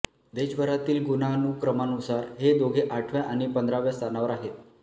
देशभरातील गुणानुक्रमानुसार हे दोघे आठव्या आणि पंधराव्या स्थानावर आहेत